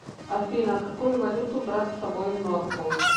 афина какую валюту брать с собой в норфолк